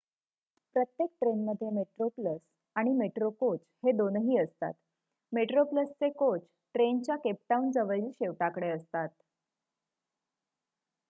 प्रत्येक ट्रेनमध्ये मेट्रोप्लस आणि मेट्रो कोच हे दोनही असतात मेट्रोप्लसचे कोच ट्रेनच्या केप टाऊनजवळील शेवटाकडे असतात